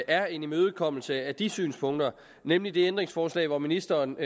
er en imødekommelse af de synspunkter nemlig det ændringsforslag hvor ministeren